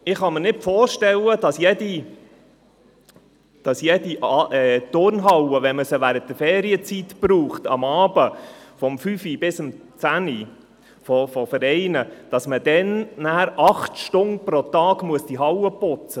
Ich kann mir nicht vorstellen, dass eine Turnhalle, wenn sie während der Ferienzeit abends zwischen 17 Uhr und 22 Uhr von Vereinen genutzt wird, anschliessend während acht Stunden gereinigt werden muss.